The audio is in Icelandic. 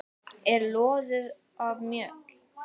er loðið af mjöll.